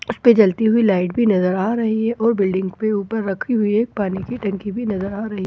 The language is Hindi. उसपे जलती हुई लाइट भी नज़र आ रही है और बिलडिंग पे ऊपर रखी हुई एक पानी की टंकी भी नज़र आ रही--